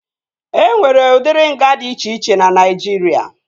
E nwere udiri nga dị iche iche na Naijiria